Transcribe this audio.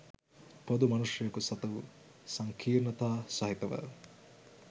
පොදු මනුෂ්‍යයෙකු සතු සංකීර්ණතා සහිතව.